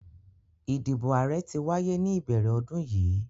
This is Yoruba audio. Idibo aarẹ ti waye ni ibẹrẹ ọdun yii